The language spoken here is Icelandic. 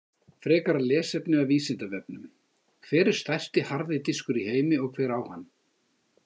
Frekara lesefni af Vísindavefnum: Hver er stærsti harði diskur í heimi og hver á hann?